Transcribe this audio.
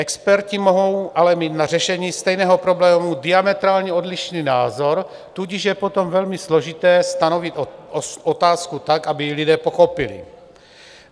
Experti mohou mít ale na řešení stejného problému diametrálně odlišný názor, tudíž je potom velmi složité stanovit otázku tak, aby ji lidé pochopili.